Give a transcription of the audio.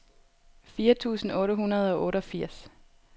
fire tusind otte hundrede og otteogfirs